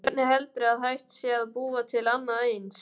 Hvernig heldurðu að hægt sé að búa til annað eins?